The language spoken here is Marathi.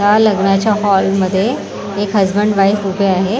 या लग्नाच्या हॉल मध्ये एक हजबंड वाइफ उभे आहे.